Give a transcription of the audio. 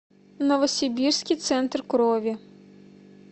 новосибирский центр крови